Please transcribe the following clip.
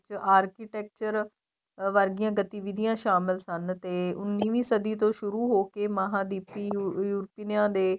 architecture ਵਰਗੀਆਂ ਗਤਿਵਿਧਿਆਂ ਸਾਮਲ ਸਨ ਤੇ ਉੰਨਵੀ ਸਦੀਂ ਤੋ ਸੁਰੂ ਹੋਕੇ ਮਹਾਦੀਪੀ ਯੂਰਪੀਨਾ ਦੇ